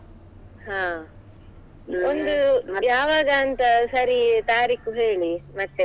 ಹಾ, ಯಾವಾಗ ಅಂತ ಸರಿ ತಾರೀಕು ಹೇಳಿ ಮತ್ತೆ.